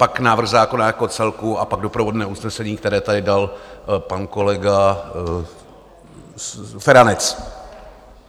Pak návrh zákona jako celku a pak doprovodné usnesení, které tady dal pan kolega Feranec.